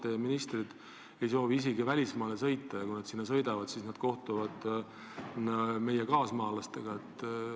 Mõni teie minister ei soovi isegi välismaale sõita ja kui nad sinna sõidavadki, siis kohtuvad meie kaasmaalastega.